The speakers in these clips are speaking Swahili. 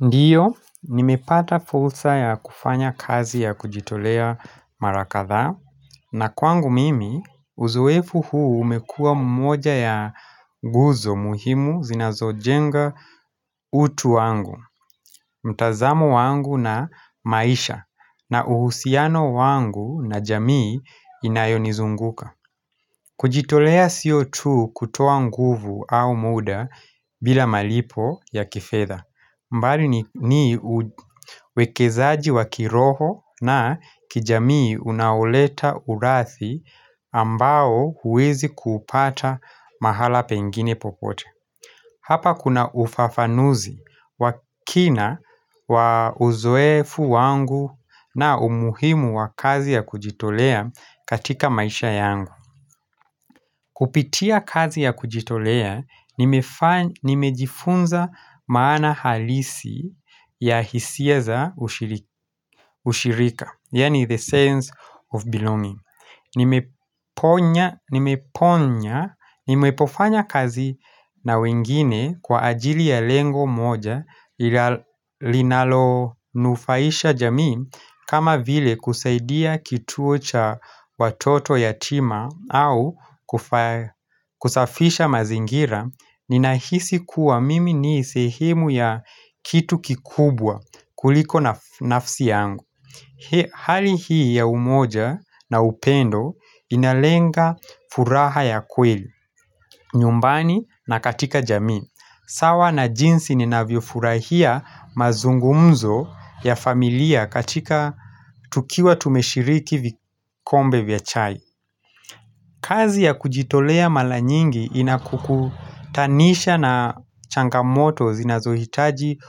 Ndiyo, nimepata fursa ya kufanya kazi ya kujitolea mara kadhaa na kwangu mimi, uzoefu huu umekua mmoja ya guzo muhimu zinazojenga utu wangu mtazamo wangu na maisha na uhusiano wangu na jamii inayonizunguka kujitolea sio tu kutoa nguvu au muda bila malipo ya kifedha mbali ni uwekezaji wa kiroho na kijamii unaoleta uradhi ambao huwezi kuupata mahala pengine popote. Hapa kuna ufafanuzi wa kina wa uzoefu wangu na umuhimu wa kazi ya kujitolea katika maisha yangu. Kupitia kazi ya kujitolea, nimejifunza maana halisi ya hisia za ushirika, yaani the sense of belonging. Nimeponya, nimeponya nimepofanya kazi na wengine kwa ajili ya lengo moja linalonufaisha jamii kama vile kusaidia kituo cha watoto yatima au kusafisha mazingira Ninahisi kuwa mimi ni sehemu ya kitu kikubwa kuliko nafsi yangu hali hii ya umoja na upendo inalenga furaha ya kweli, nyumbani na katika jamii, sawa na jinsi ninavyofurahia mazungumzo ya familia katika tukiwa tumeshiriki vikombe vya chai kazi ya kujitolea mara nyingi inakukutanisha na changamoto zinazohitaji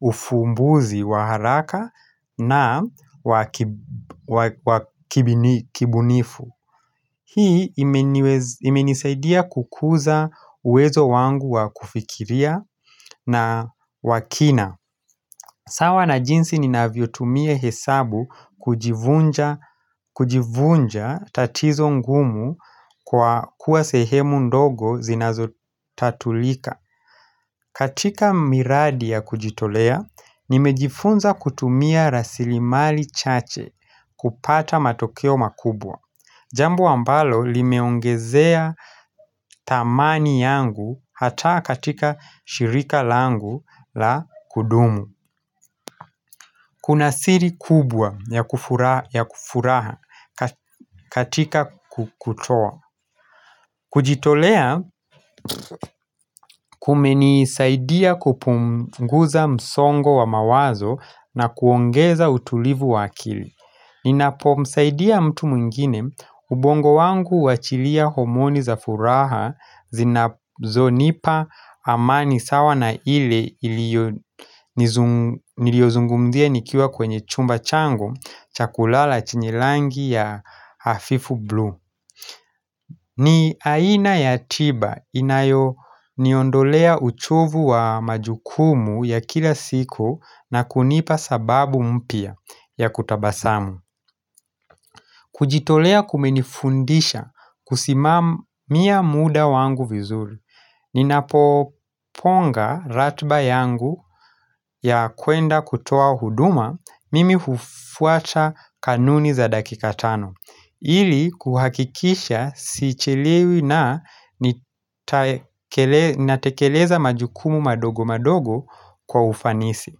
ufumbuzi wa haraka na wa kibunifu. Hii imenisaidia kukuza uwezo wangu wa kufikiria na wa kina. Sawa na jinsi ninavyotumia hesabu kujivunja tatizo ngumu kwa kuwa sehemu ndogo zinazotatulika. Katika miradi ya kujitolea, nimejifunza kutumia rasilimali chache kupata matokeo makubwa. Jambo ambalo limeongezea thamani yangu hata katika shirika langu la kudumu. Kuna siri kubwa ya kufuraha katika kutoa kujitolea kumenisaidia kupunguza msongo wa mawazo na kuongeza utulivu wa akili Ninapomsaidia mtu mwingine ubongo wangu huachilia homoni za furaha zinazonipa amani sawa na ile niliyozungumzia nikiwa kwenye chumba changu cha kulala chenye rangi ya hafifu blue ni aina ya tiba inayoniondolea uchovu wa majukumu ya kila siku na kunipa sababu mpya ya kutabasamu kujitolea kumenifundisha kusimamia muda wangu vizuri Ninapopanga ratiba yangu ya kuenda kutoa huduma mimi hufuata kanuni za dakika tano ili kuhakikisha sichelewi na natekeleza majukumu madogo madogo kwa ufanisi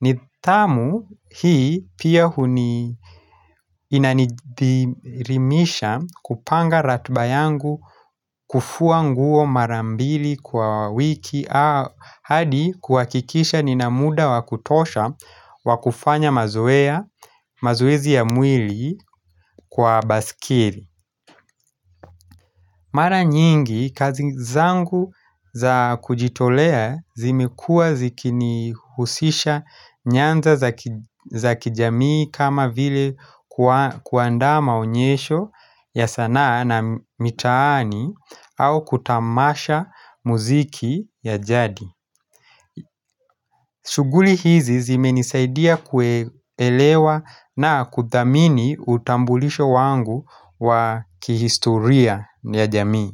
nidhamu hii pia huni inanidhirimisha kupanga ratiba yangu kufua nguo mara mbili kwa wiki hadi kuhakikisha nina muda wa kutosha wa kufanya mazoea mazoezi ya mwili kwa baiskeli Mara nyingi, kazi zangu za kujitolea zimekua zikinihusisha nyanza za kijamii kama vile kuandama onyesho ya sanaa na mitaani au kutamasha muziki ya jadi. Shughuli hizi zimenisaidia kuelewa na kuthamini utambulisho wangu wa kihistoria ya jamii.